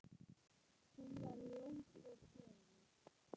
Hún var ljós og fögur.